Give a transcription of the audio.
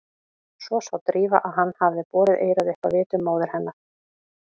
Svo sá Drífa að hann hafði borið eyrað upp að vitum móður hennar.